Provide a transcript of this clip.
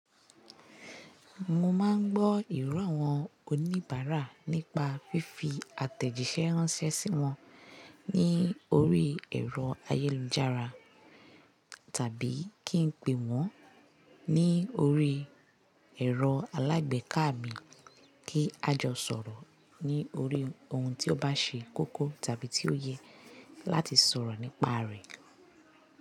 Mo máa ń gbọ́ ìrọ́ àwọn oníbàárà nípa fífi àtẹ̀jíṣẹ́ ránṣẹ́ sí wọn ní orí ẹ̀rọ ayélujára tàbí kí n pè wọ́n ní orí ẹ̀rọ alágbèéká mi kí a jọ sọ̀rọ̀ ní orí ohun tí ó bá ṣe kókó tàbí tí ó ye láti sọ̀rọ̀ nípa rẹ̀